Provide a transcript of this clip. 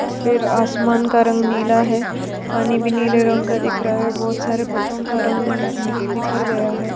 फिर आसमान का रंग नीला है पानी भी नीले रंग का दिख रहा है बहुत सारे पतंग का रंग बिख बिखर गया है।